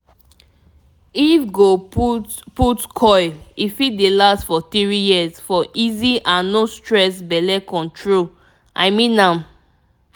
if go put put coil e fit dey last for 3yrs for easy and no stress belle control. i mean am